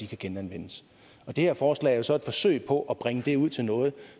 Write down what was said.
kan genanvendes og det her forslag er jo så et forsøg på at brede det ud til noget